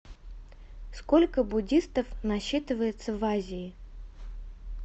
сколько буддистов насчитывается в азии